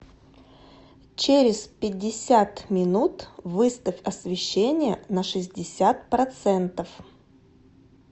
через пятьдесят минут выставь освещение на шестьдесят процентов